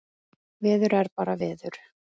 Veður er bara veður.